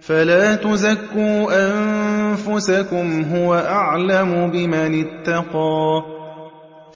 فَلَا تُزَكُّوا أَنفُسَكُمْ ۖ هُوَ أَعْلَمُ بِمَنِ اتَّقَىٰ